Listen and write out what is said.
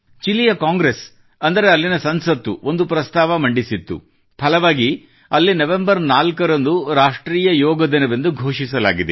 ಚಿಲಿಯ ಕಾಂಗ್ರೆಸ್ ಅಂದರೆ ಅಲ್ಲಿನ ಸಂಸತ್ತು ಒಂದು ಪ್ರಸ್ತಾವ ಮಂಡಿಸಿತ್ತು ಫಲವಾಗಿ ಅಲ್ಲಿ ನವೆಂಬರ್ 4ರಂದು ರಾಷ್ಟ್ರೀಯ ಯೋಗ ದಿನವೆಂದು ಘೋಷಿಸಲಾಗಿದೆ